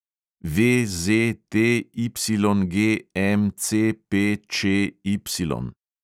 VZTYGMCPČY